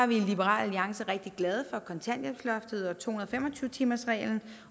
vi i liberal alliance rigtig glade for kontanthjælpsloftet og to hundrede og fem og tyve timersreglen